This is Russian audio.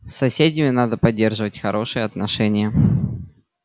с соседями надо поддерживать хорошие отношения